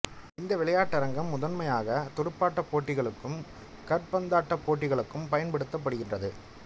இந்த விளையாட்டரங்கம் முதன்மையாக துடுப்பாட்டப் போட்டிகளுக்கும் காற்பந்தாட்டப் போட்டிகளுக்கும் பயன்படுத்தப்படுகின்றது